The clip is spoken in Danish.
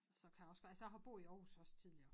Så kan jeg også altså jeg har boet i Aarhus også tidligere